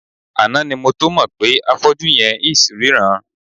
Àná ni mo tó mọ̀ pé afọ́jú yẹn ls ríran.